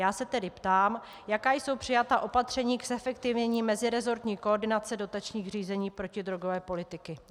Já se tedy ptám, jaká jsou přijatá opatření k zefektivnění meziresortní koordinace dotačních řízení protidrogové politiky.